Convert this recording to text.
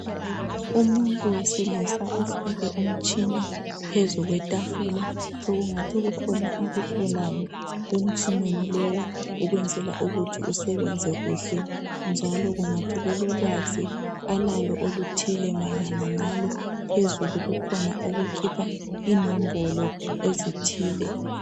Umuntu wesilisa osineke umtshina phezu kwe tafula. Sokungathi kukhona akuhlolayo emtshineni lowu ukwenzela ukuthi usebenze kuhle njalo kungathi ulolwazi alalo oluthile mayelana ngalo. Phezulu kukhona okukhipha inombolo ezithile .